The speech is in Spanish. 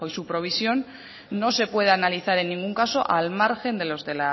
su provisión no se pueden analizar en ningún caso al margen de los de